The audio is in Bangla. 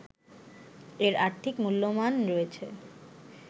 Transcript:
এর আর্থিক মূল্যমান রয়েছে